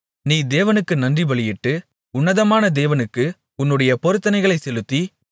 நீ தேவனுக்கு நன்றிபலியிட்டு உன்னதமான தேவனுக்கு உன்னுடைய பொருத்தனைகளைச் செலுத்தி